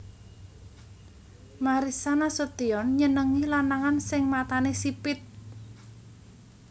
Marissa Nasution nyenengi lanangan sing matane sipit